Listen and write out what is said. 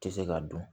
Tɛ se ka dɔn